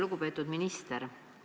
Lugupeetud minister!